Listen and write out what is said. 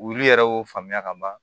Wulu yɛrɛ y'o faamuya ka ban